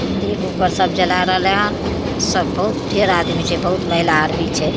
एगो पर सब जला रहले हन सब बहुत ढ़ेर आदमी छे बहुत महिला आर भी छे।